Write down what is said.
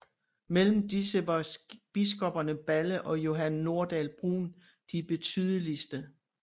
Mellem disse var biskopperne Balle og Johan Nordahl Brun de betydeligste